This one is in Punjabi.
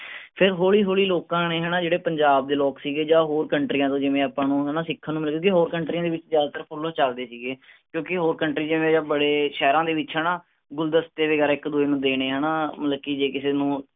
ਤੇ ਹੌਲੀ ਹੌਲੀ ਲੋਕਾਂ ਨੇ ਹੈਨਾ ਜਿਹੜੇ ਪੰਜਾਬ ਦੇ ਲੋਗ ਸੀਗੇ ਜਾਂ ਹੋਰ countries ਦੇ ਜਿਵੇਂ ਆਪਾਂ ਨੂੰ ਹੈਨਾ ਸਿੱਖਣ ਨੂੰ ਮਿਲਗੇ ਹੋਰ countries ਦੇ ਵਿਚ ਜਿਆਦਾਤਰ ਫੁੱਲ ਚਲਦੇ ਸੀਗੇ ਕਿਉਂਕਿ ਹੋਰ country ਜਾਂ ਬੜੇ ਸ਼ਹਿਰਾਂ ਦੇ ਵਿਚ ਹੈਨਾ ਗੁਲਦਸਤੇ ਵਗੈਰਾ ਇੱਕ ਦੂੱਜੇ ਨੂੰ ਦੇਣੇ ਹੈਨਾ ਮਤਲਬ ਕਿ ਜੇ ਕਿਸੇ ਨੂੰ